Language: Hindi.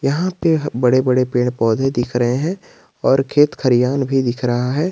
यहां पे बड़े बड़े पेड़ पौधे दिख रहे हैं और खेत खरियांन भी दिख रहा है।